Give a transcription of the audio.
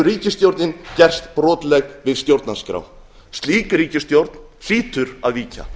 ríkisstjórnin gerst brotleg við stjórnarskrá slík ríkisstjórn hlýtur að víkja